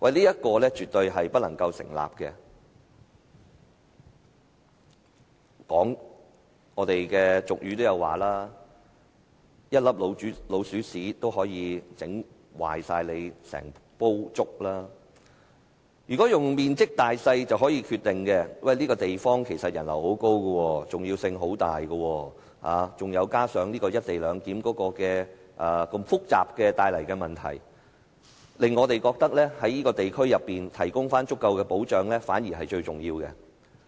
這點絕對不能成立，俗語也說："一粒老鼠屎可以弄壞整鍋粥"，不應僅以面積大小來作決定，而且該區的人流甚高，極具重要性，再加上"一地兩檢"帶來的複雜問題，令我們覺得在該區提供足夠保障，才是最重要的。